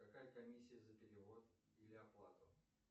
какая комиссия за перевод или оплату